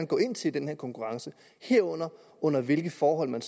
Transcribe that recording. går ind til i den her konkurrence herunder under hvilke forhold man